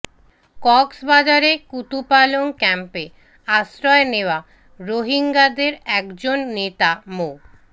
কক্সবাজারে কুতুপালং ক্যাম্পে আশ্রয় নেওয়া রোহিঙ্গাদের একজন নেতা মো